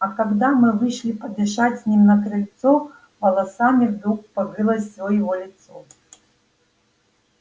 а когда мы вышли подышать с ним на крыльцо волосами вдруг покрылось всё его лицо